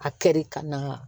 A kɛli ka na